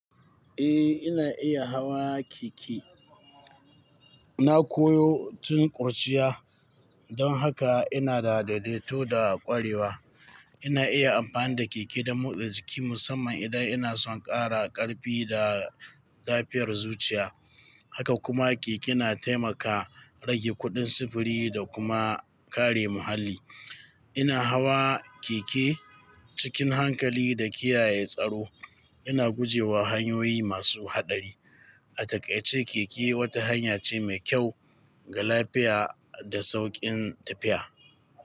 Eh, ina iya hawa keke. Na koyo tun kurciya don haka ina da daidaito da kwarewa. Ina iya amfani da keke don motsa jiki musamman idan ina son ƙara ƙarfi da lafiyar zuciya. Haka kuma keke na taimaka rage kuɗin sufuri da kuma kare muhalli. Ina hawa keke cikin hankali da kiyaye tsaro, ina guje wa hanyoyi masu haɗari. A takaice keke wata hanya ce mai kyau ga lafiya da sauƙin tafiya.